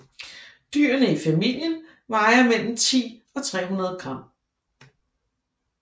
Dyrene i familien vejer mellem 10 og 300 g